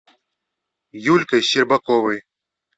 юлькой щербаковой